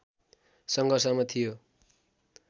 सङ्घर्षमा थियो